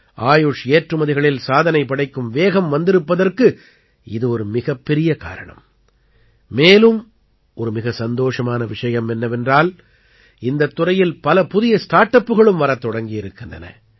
ஆயுஷ் ஏற்றுமதிகளில் சாதனை படைக்கும் வேகம் வந்திருப்பதற்கு இது ஒரு மிகப்பெரிய காரணம் மேலும் ஒரு மிக சந்தோஷமான விஷயம் என்னவென்றால் இந்தத் துறையில் பல புதிய ஸ்டார்ட் அப்புகளும் வரத் தொடங்கியிருக்கின்றன